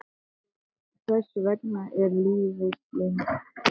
Þess vegna er lífsfylling hans meiri.